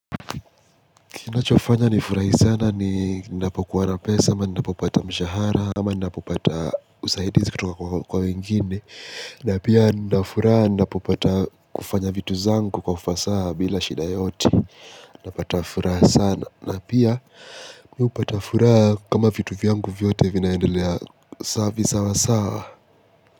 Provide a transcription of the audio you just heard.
Kinachofanya nifurahi sana ni ninapokuwa na pesa ama nindapopata mshahara sama nindapopata usaidizi kutoka kwa wengine na pia nindafura nindapopata kufanya vitu zangu kwa ufasa bila shida yoyote napata furaha sana na pia miupata furaha kama vitu vyangu vyote vinaendelea saa visa wa saa.